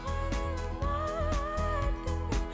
қарайлама артыңа